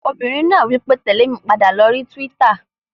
Obìnrin náà wí pé "tèlé mi padà lórí túwítà!"